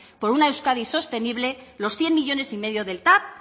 por una euskadi sostenible los cien millónes y medio del tav